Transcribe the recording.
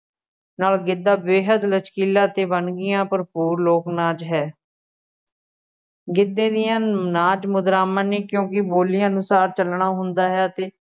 ਨਾਲ ਗਿੱਧਾ ਬੇਹੱਦ ਲਚਕੀਲਾ ਅਤੇ ਵੰਨਗੀਆ ਭਰਪੂਰ ਲੋਕ ਨਾਚ ਹੈ ਗਿੱਧੇ ਦੀਆਂ ਨਾਚ ਮੁਦਰਾਵਾਂ ਨੇ, ਕਿਉਂਕਿ ਬੋਲੀ ਅਨੁਸਾਰ ਚੱਲਣਾ ਹੁੰਦਾ ਹੈ ਅਤੇ